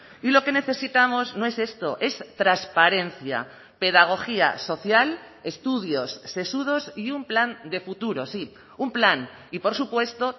y lo que necesitamos no es esto es transparencia pedagogía social estudios sesudos y un plan de futuro sí un plan y por supuesto